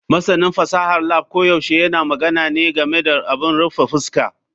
Masanin fasahar lab koyaushe yana magana ne game da abin rufe fuska.